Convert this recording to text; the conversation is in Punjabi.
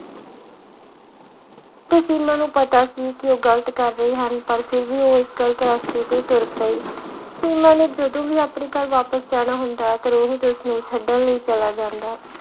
ਤੇ ਸੀਮਾ ਨੂੰ ਪਤਾ ਸੀ ਕਿ ਉਹ ਗ਼ਲਤ ਕਰ ਰਹੇ ਹਨ ਪਰ ਫਿਰ ਵੀ ਉਹ ਗ਼ਲਤ ਰਾਸਤੇ ਤੇ ਤੁਰ ਪਈ, ਸੀਮਾ ਨੇ ਜਦੋਂ ਵੀ ਆਪਣੇ ਘਰ ਵਾਪਸ ਜਾਣਾ ਹੁੰਦਾ ਤਾਂ ਰੋਹਿਤ ਉਸਨੂੰ ਛੱਡਣ ਲਈ ਚਲਾ ਜਾਂਦਾ।